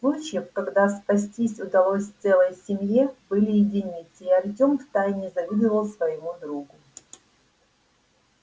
случаев когда спастись удалось целой семье были единицы и артём втайне завидовал своему другу